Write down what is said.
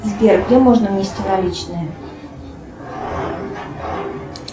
сбер где можно внести наличные